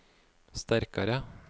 sterkare